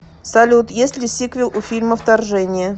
салют есть ли сиквел у фильма вторжение